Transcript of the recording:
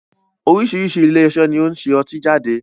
Oríṣiríṣi ilé iṣẹ́ ni ó ń ṣe ọtí jáde